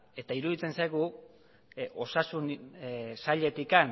eta iruditzen zaigu osasun sailetik